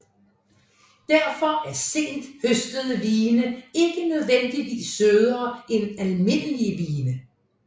Derfor er sent høstede vine ikke nødvendigvis sødere end almindelige vine